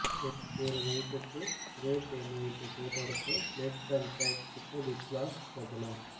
ஒரு நைட்டுக்கு ரேட் என்ன என்று கேட்டவருக்கு லெஃப்ட் அன்ட் ரைட் விட்ட பிக் பாஸ் பிரபலம்